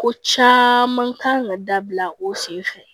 Ko caman kan ka dabila o sen fɛ